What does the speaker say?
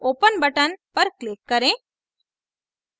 open button पर click करें